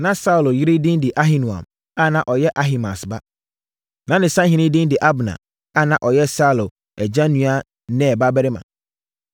Na Saulo yere din de Ahinoam a na ɔyɛ Ahimaas ba. Na ne sahene din de Abner a na ɔyɛ Saulo agya nua Ner babarima.